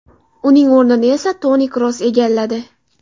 Uning o‘rnini esa Toni Kroos egalladi.